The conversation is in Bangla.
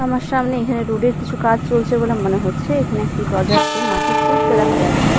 আমার সামনে এখানে রোড -এর কিছু কাজ চলছে বলে মনে হচ্ছে এখানে একটি ডোজার কে মাটি কুঁড়তে দেখা যাচ্ছে।